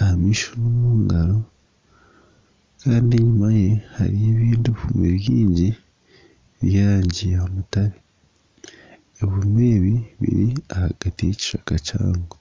aha maisho n'omungaro kandi enyima ye hariyo ebindi ebihumi bingi by'erangi ya mutare ebihumi ebi biri ahagati y'ekishaka kihango